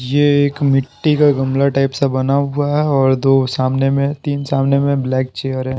ये एक मिट्टी का गमला टाइप सा बना हुआ है और दो सामने में तीन सामने में ब्लैक चेयर है।